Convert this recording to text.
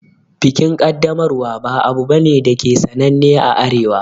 Bikin Kaddamarwa ba abu bane dake sananne a Arewa